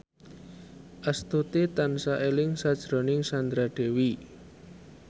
Astuti tansah eling sakjroning Sandra Dewi